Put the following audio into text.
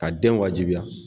Ka den wajibiya